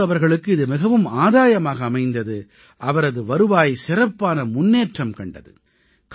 மன்சூர் அவர்களுக்கு இது மிகவும் ஆதாயமாக அமைந்தது அவரது வருவாய் சிறப்பான முன்னேற்றம் கண்டது